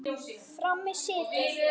Frammi í situr